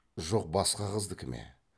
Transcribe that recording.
жоқ басқа қыздікі ме